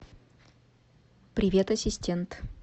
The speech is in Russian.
привет ассистент